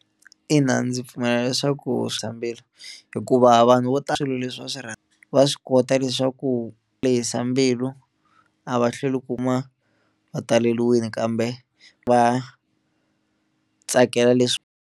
Ina ndzi pfumela leswaku swa mbilu hikuva vanhu vo tala swilo leswi va swi rhandzi va swi kota leswaku lehisa mbilu a va hlweli kuma va taleliwini kambe va tsakela leswi.